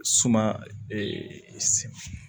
Suma